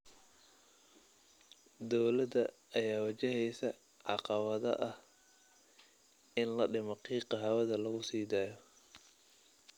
Dowladda ayaa wajaheysa caqabada ah in la dhimo qiiqa hawada lagu sii daayo.